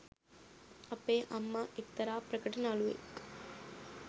අපේ අම්මා එක්තරා ප්‍රකට නළුවෙක්